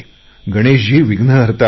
गणेशजी विघ्नहर्ता आहेत